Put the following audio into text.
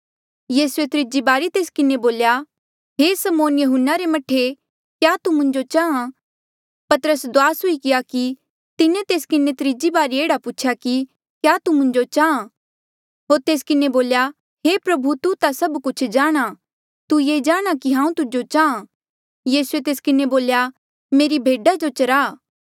यीसूऐ त्रीजी बारी तेस किन्हें बोल्या हे समौन यहून्ना रे मह्ठे क्या तू मुंजो चाहां पतरस दुआस हुई गया कि तिन्हें तेस किन्हें त्रीजी बारी एह्ड़ा पूछेया कि क्या तू मुंजो चाहां होर तेस किन्हें बोल्या हे प्रभु तू ता सभ कुछ जाणहां तू ये जाणहां कि हांऊँ तुजो चाहां यीसूए तेस किन्हें बोल्या मेरी भेडा जो चरा